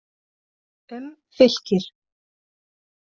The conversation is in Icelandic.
Um Fylkir: